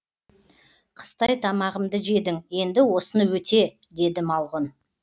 қыстай тамағымды жедің енді осыны өте деді малғұн